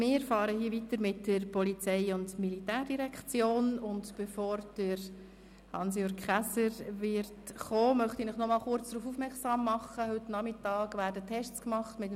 Wir fahren fort mit den Geschäften der POM, und bevor Regierungsrat Käser kommt, möchte ich noch einmal kurz darauf aufmerksam machen, dass heute Nachmittag Tests mit dem WLAN gemacht werden.